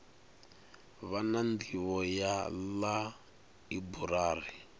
vha na nḓivho ya ḽaiburari